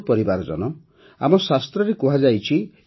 ମୋର ପରିବାର ଜନ ଆମ ଶାସ୍ତ୍ରରେ କୁହାଯାଇଛି